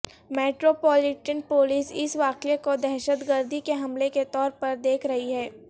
metropolitan police اس واقعے کو دہشت گردی کے حملے کے طور پر دیکھ رہی ہے